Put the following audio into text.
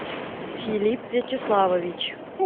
филипп вячеславович